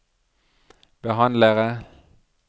behandlere